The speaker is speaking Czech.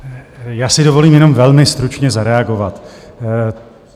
Já si dovolím jenom velmi stručně zareagovat.